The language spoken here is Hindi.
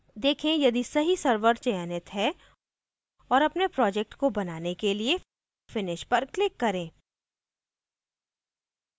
देखें यदि see server चयनित है और अपने project को बनाने के लिए finish पर click करें